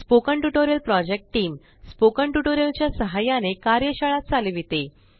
spoken tutorial project team spoken tutorial च्या साहाय्याने कार्यशाळा चालविते